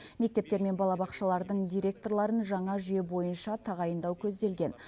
мектептер мен балабақшалардың директорларын жаңа жүйе бойынша тағайындау көзделген